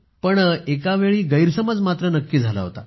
पण एका वेळी गैरसमज मात्र नक्की झाला होता